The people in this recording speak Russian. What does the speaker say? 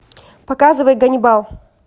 показывай ганнибал